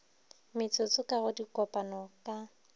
metsotso ka go dikopano ka